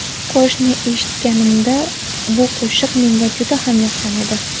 Qo‘shiqni eshitganimda, bu qo‘shiq menga juda ham yoqqan edi.